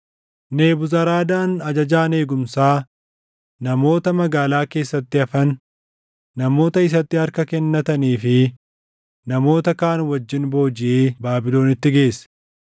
Nebuzaradaan ajajaan eegumsaa, namoota magaalaa keessatti hafan, namoota isatti harka kennatanii fi namoota kaan wajjin boojiʼee Baabilonitti geesse.